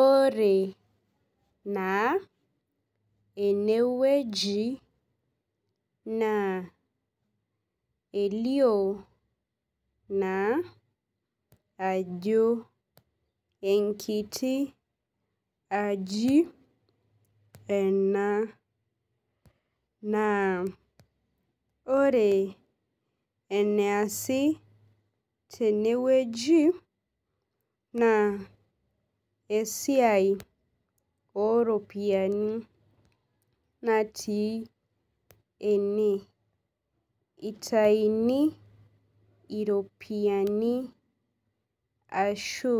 Ore naa enewueji na elio naa ajo enkiti aji ena naa ore eneasi tenewueji na esiai oropiyiani natii ene itauni iropiyiani ashu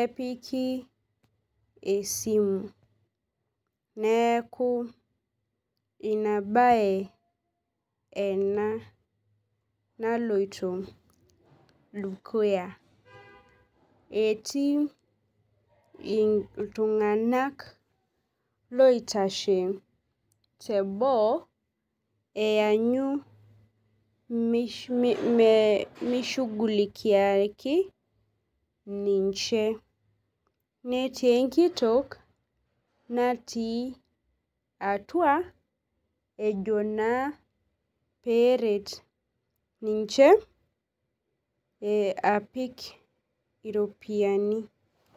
epiki esimu neaku inabae ena naloito dukuya etii iltunganak loitashe teboo eanyi mishugulikiaki ninche netii enkitok natii atua ejo na peret ninche apik iropiyiani.